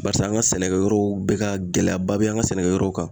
Barisa an ka sɛnɛkɛyɔrɔw bɛ ka gɛlɛn ba bɛ an ka sɛnɛkɛyɔrɔw kan.